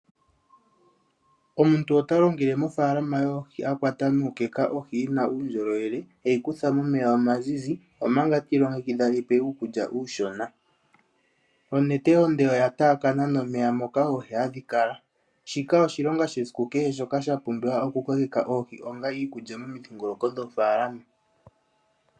Omuntu ota longele mofaalama yoohi akwata nawa nuukeka ohi yina uundjolowele eyi kutha momeya omazizi omanga ti ilongekidha eyipe uukulya uushona onete onde oya tapakana nomeya mpoka oohi hadhi kala shika oshilonga shesiku kehe shoka shapumbiwa oku kokeka oohi onga iikulya momidhingoloko dhoofaalama.